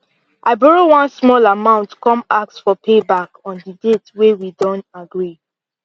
i borrow one small amount come ask for payback on the date wey we don agree